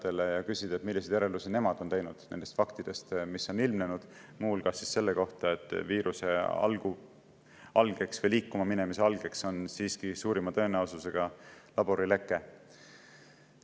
küsida, milliseid järeldusi nemad on teinud nendest faktidest, mis on ilmnenud, muu hulgas sellest, et viiruse algeks või selle liikuma minemise algeks on suurima tõenäosusega laborileke.